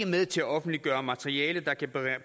med til at offentliggøre materiale der kan